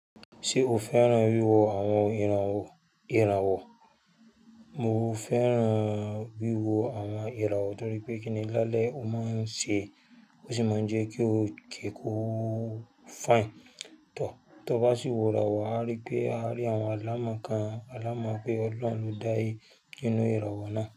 Ṣé o fẹ́ràn wíwo àwọn ìràwọ̀? Mo fẹ́ràn wíwo àwọn ìràwọ̀ torí pé kíni lálẹ́ ó máa ń ṣe, ó sì máa ń jẹ́ kí ó kẹ́kọ̀ọ́ fine. Tọ̀, tọ bá sì wòra wà, a rí pé a rí àwọn alámọ̀ kan, alámọ̀ pé ọlọ́run dáyé nínú ìràwọ̀ náà.